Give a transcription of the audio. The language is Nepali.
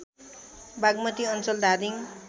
बागमती अञ्चल धादिङ